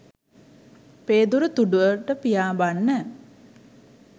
පේදුරු තුඩුවට පියාඹන්න